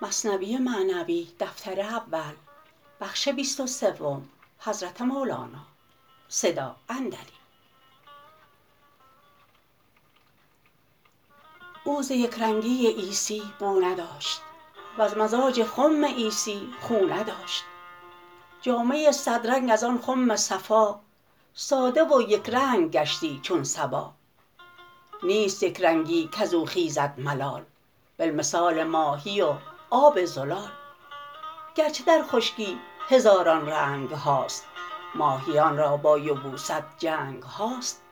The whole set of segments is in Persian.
او ز یک رنگی عیسی بو نداشت وز مزاج خم عیسی خو نداشت جامه صد رنگ از آن خم صفا ساده و یک رنگ گشتی چون صبا نیست یک رنگی کزو خیزد ملال بل مثال ماهی و آب زلال گرچه در خشکی هزاران رنگهاست ماهیان را با یبوست جنگهاست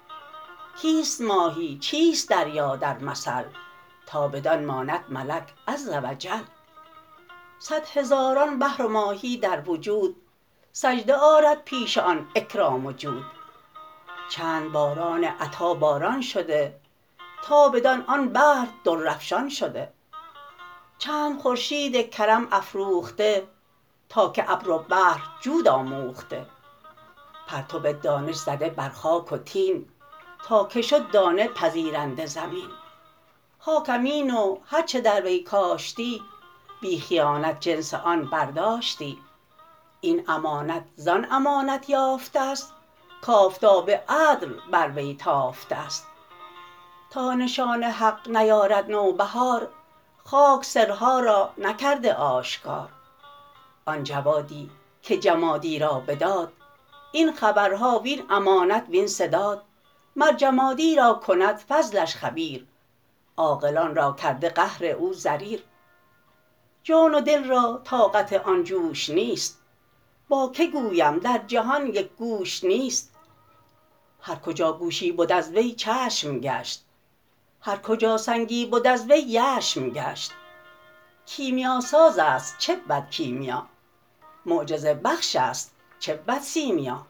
کیست ماهی چیست دریا در مثل تا بدان ماند ملک عز و جل صد هزاران بحر و ماهی در وجود سجده آرد پیش آن اکرام و جود چند باران عطا باران شده تا بدان آن بحر در افشان شده چند خورشید کرم افروخته تا که ابر و بحر جود آموخته پرتو دانش زده بر خاک و طین تا که شد دانه پذیرنده زمین خاک امین و هر چه در وی کاشتی بی خیانت جنس آن برداشتی این امانت زان امانت یافتست کآفتاب عدل بر وی تافتست تا نشان حق نیارد نوبهار خاک سرها را نکرده آشکار آن جوادی که جمادی را بداد این خبرها وین امانت وین سداد مر جمادی را کند فضلش خبیر عاقلان را کرده قهر او ضریر جان و دل را طاقت آن جوش نیست با که گویم در جهان یک گوش نیست هر کجا گوشی بد از وی چشم گشت هر کجا سنگی بد از وی یشم گشت کیمیاسازست چه بود کیمیا معجزه بخش است چه بود سیمیا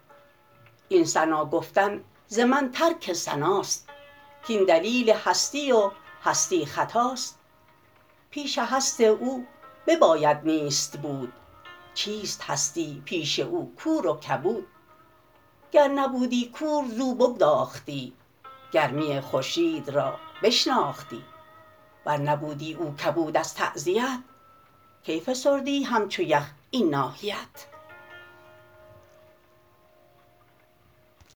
این ثنا گفتن ز من ترک ثناست کین دلیل هستی و هستی خطاست پیش هست او بباید نیست بود چیست هستی پیش او کور و کبود گر نبودی کور زو بگداختی گرمی خورشید را بشناختی ور نبودی او کبود از تعزیت کی فسردی همچو یخ این ناحیت